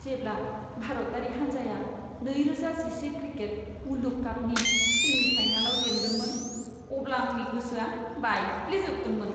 जेब्ला भारतारि हान्जाया नैरोजा जिसे क्रिकेट मुलुग कापनि सेमि फाइनालाव जेन्दोंमोन, अब्ला आंनि गोसोआ बायफ्लेजोबदोंमोन!